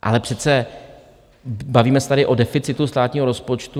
Ale přece bavíme se tady o deficitu státního rozpočtu.